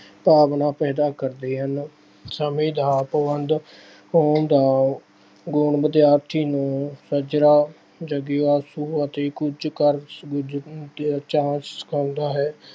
ਭਾਵਨਾ ਪੈਦਾ ਕਰਦੇ ਹਨ। ਸਮੇਂ ਦਾ ਪਾਬੰਦ ਹੋਣ ਦਾ ਗੁਣ ਵਿਦਿਆਰਥੀ ਨੂੰ ਸੱਜਰਾ ਅਤੇ ਕੁੱਝ ਕਰਨ ਗੁਜ਼ਰਨ ਦਾ ਕਰਦਾ ਹੈ।